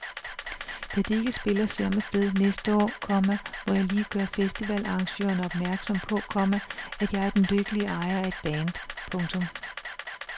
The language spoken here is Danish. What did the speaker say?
Da de ikke spiller samme sted næste år, komma må jeg lige gøre festivalarrangørerne opmærksom på, komma at jeg er den lykkelige ejer af et band. punktum